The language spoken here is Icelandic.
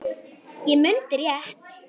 Ég mundi rétt.